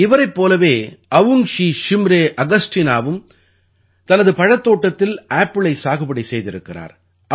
இவரைப் போலவே அவுங்ஷீ ஷிம்ரே ஆகஸ்டீனாவும் தனது பழத்தோட்டத்தில் ஆப்பிளை சாகுபடி செய்திருக்கிறார்